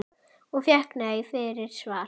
Og fékk nei fyrir svar?